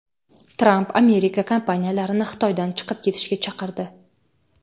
Tramp Amerika kompaniyalarini Xitoydan chiqib ketishga chaqirdi.